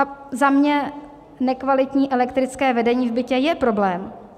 A za mě nekvalitní elektrické vedení v bytě je problém.